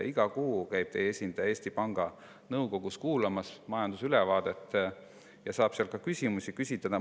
Iga kuu käib teie esindaja Eesti Panga Nõukogus kuulamas majandusülevaadet ja saab seal ka küsimusi küsida.